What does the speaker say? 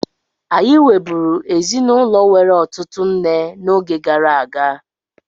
Anyị nweburu ezinụlọ nwere ụtụtụ nne n'oge gara aga.